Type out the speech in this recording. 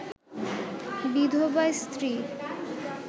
বিধবা স্ত্রী